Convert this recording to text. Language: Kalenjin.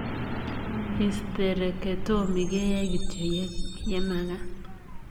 Histereketomi keyai kityoo yemakaat.